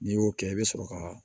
N'i y'o kɛ i bɛ sɔrɔ ka